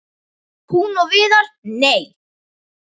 Hún og Viðar- nei!